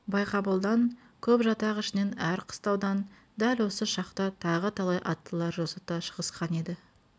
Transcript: байғабылдан көп жатақ ішінен әр қыстаудан дәл осы шақта тағы талай аттылар жосыта шығысқан еді